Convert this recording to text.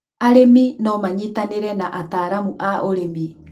arĩmi no manyitanire na ataalamu a ũrĩmi